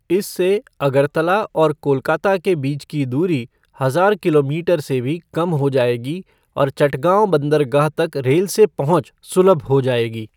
इससे अगरतला और कोलकाता के बीच की दूरी हजार किलोमीटर से भी कम हो जाएगी और चटगाँव बंदरगाह तक रेल से पहुँच सुलभ हो जाएगी।